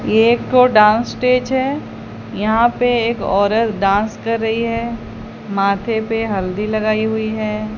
एक ठो dance stage है यहां पे एक औरत डांस कर रही है माथे पे हल्दी लगाई हुई है।